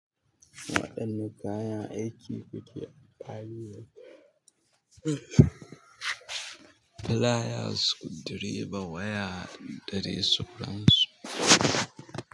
Waɗanne kayan aiki kuke amfani da su? Filaya, sukudireba, waya daɗe sauransu.